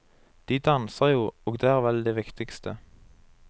De danser jo, og det er vel det viktigste.